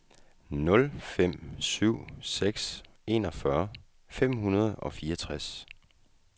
nul fem syv seks enogfyrre fem hundrede og fireogtres